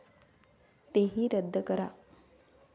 तेही रद्द करा.